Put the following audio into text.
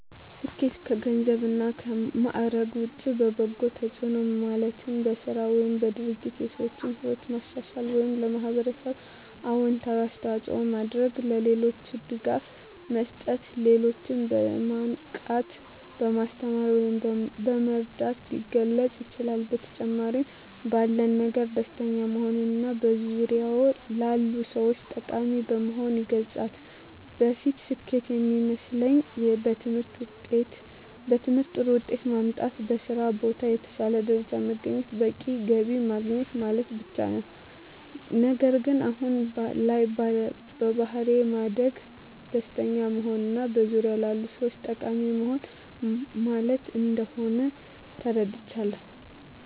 ስኬት ከገንዘብ እና ማዕረግ ውጭ በበጎ ተጽዕኖ ማለትም በሥራ ወይም በድርጊት የሰዎችን ሕይወት ማሻሻል ወይም ለኅብረተሰብ አዎንታዊ አስተዋፅዖ በማድረግ፣ ለሌሎች ድጋፍ መስጠት፣ ሌሎችን በማንቃት፣ በማስተማር ወይም በመርዳት ሊገለፅ ይችላል። በተጨማሪም ባለን ነገር ደስተኛ በመሆንና በዙሪያዎ ላሉ ሰዎች ጠቃሚ በመሆን ይገለፃል። በፊት ስኬት የሚመስለኝ በትምህርት ጥሩ ውጤት ማምጣት፣ በስራ ቦታ የተሻለ ደረጃ በማግኘት በቂ ገቢ ማግኘት ማለት ብቻ ነበር። ነገር ግን አሁን ላይ በባሕሪ ማደግ፣ ደስተኛ መሆንና በዙሪያዎ ላሉ ሰዎች ጠቃሚ መሆን ማለት እንደሆን ተረድቻለሁ።